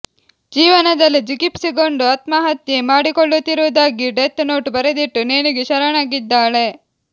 ಜೀವನದಲ್ಲಿ ಜಿಗುಪ್ಸೆಗೊಂಡು ಆತ್ಮಹತ್ಯೆ ಮಾಡಿಕೊಳ್ಳುತ್ತಿರುವುದಾಗಿ ಡೆತ್ ನೋಟ್ ಬರೆದಿಟ್ಟು ನೇಣಿಗೆ ಶರಣಾಗಿದ್ದಾಳೆ